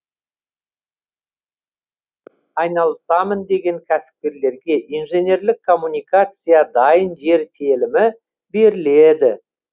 айналысамын деген кәсіпкерлерге инженерлік коммуникациясы дайын жер телімі беріледі